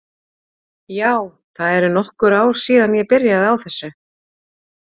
Já, það eru nokkur ár síðan ég byrjaði á þessu.